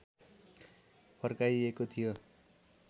फर्काइएको थियो